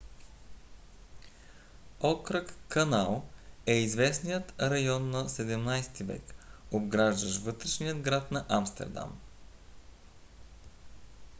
окръг канал на нидерландски: grachtengordel е известният район на 17 - ти век обграждащ вътрешния град на амстердам